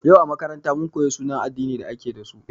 Yau a makaranta, mun koyi sunayen addinin da ake dasu.